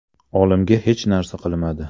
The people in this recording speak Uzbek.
Olimga hech narsa qilmadi.